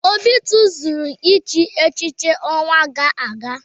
Obi tozuru ichi echichi n'ọnwa gaa aga.